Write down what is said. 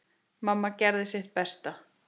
Mamma gerði samt sitt besta.